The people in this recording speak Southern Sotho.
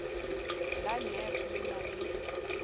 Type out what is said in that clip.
la nef le na le